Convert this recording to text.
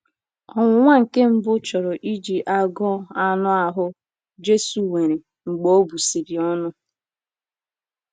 Ọnwụnwa nke mbụ chọrọ iji agụụ anụ ahụ́ Jesu nwere mgbe o busịrị ọnụ.